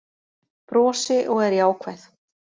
Brosi og er jákvæð